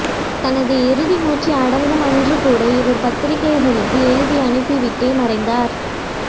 தனது இறுதி மூச்சு அடங்கும் அன்று கூட இவர் பத்திரிக்கைக்கு எழுதி அனுப்பிவிட்டே மறைந்தார்